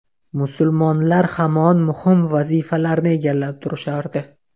Musulmonlar hamon muhim vazifalarni egallab turishardi.